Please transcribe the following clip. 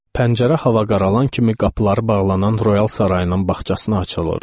Pəncərə hava qaralan kimi qapıları bağlanan Royal sarayının bağçasına açılırdı.